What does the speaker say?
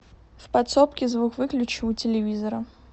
в подсобке звук выключи у телевизора